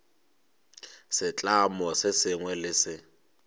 setlamo se sengwe le se